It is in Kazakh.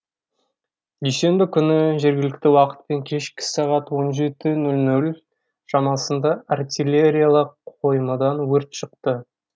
дүйсенбі күні жергілікті уақытпен кешкі сағат он жеті нөл нөл шамасында артиллериялық қоймадан өрт шықты